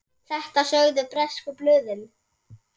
Þetta sögðu bresku blöðin.